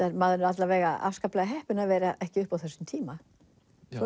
maður er alla vega afskaplega heppinn að vera ekki uppi á þessum tíma svo